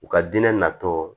U ka diinɛ natɔ